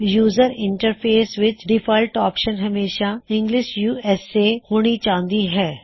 user interface ਵਿੱਚ default option ਹਮੇਸ਼ਾ English USA ਹੋਣੀ ਚਾਹੀਦੀ ਹੈ